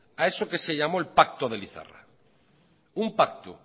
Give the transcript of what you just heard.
a eso que se llamó el pacto de lizarra un pacto